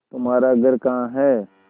तुम्हारा घर कहाँ है